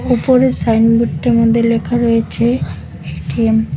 উপরের সাইনবোর্ডটার মধ্যে লেখা রয়েছে এ_টি_এম ।